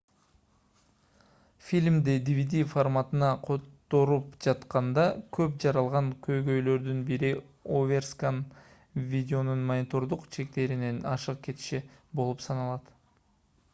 фильмди dvd форматына которуп жатканда көп жаралган көйгөйлөрдүн бири оверскан видеонун монитордун чектеринен ашык кетиши болуп саналат